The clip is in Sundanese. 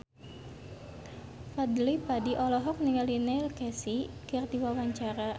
Fadly Padi olohok ningali Neil Casey keur diwawancara